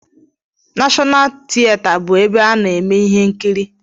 Nashọnal tieta bụ ebe a na-eme ihe nkiri